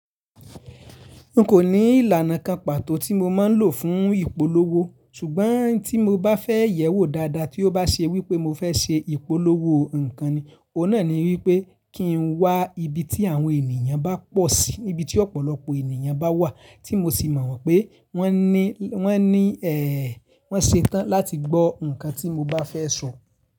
N kò ní ìlànà kan pàtó tí mo máa ń lò fún ìpolówó ṣùgbọ́n tí mo bá fẹ́ yẹ̀wò dáadáa tí ó bá ṣe wípé mo fẹ́ ṣe ìpolówó nǹkan ni, òun náà ni wípé kí n wá ibi tí àwọn ènìyàn bá pọ̀ sí, níbi tí ọ̀pọ̀lọpọ̀ ènìyàn bá wà tí mo sì mọ̀ wípé wọ́n ní, wọ́n ní ẹ̀ẹ̀, wọ́n ṣetán láti gbọ́ ǹkan tí mo bá fẹ́ sọ.